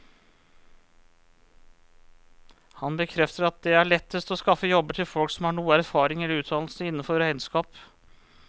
Han bekrefter at det er lettest å skaffe jobber til folk som har noe erfaring eller utdannelse innenfor regnskap.